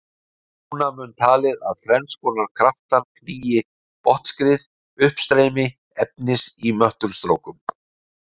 Núna mun talið að þrenns konar kraftar knýi botnskriðið: Uppstreymi efnis í möttulstrókum.